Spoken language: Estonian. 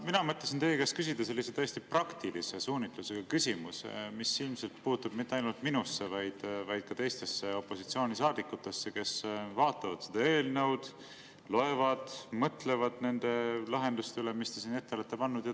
Mina mõtlesin teie käest küsida tõesti praktilise suunitlusega küsimuse, mis ilmselt ei puutu mitte ainult minusse, vaid puutub ka teistesse opositsioonisaadikutesse, kes vaatavad ja loevad seda eelnõu ja mõtlevad nende lahenduste üle, mis te siin ette olete pannud.